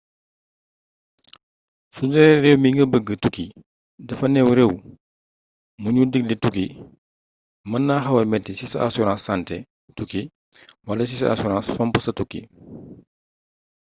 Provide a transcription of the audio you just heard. sudee réew mi nga bëgga tukki dafa new réew mu ñu digle tukki mën na xawa metti ci sa assurance santé tukki wala ci sa assurance fomm sa tukki